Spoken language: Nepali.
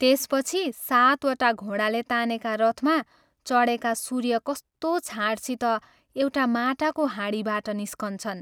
त्यसपछि सातवटा घोडाले तानेका रथमा चढेका सूर्य कस्तो छाँटसित एउटा माटाको हाँडीबाट निस्कन्छन्।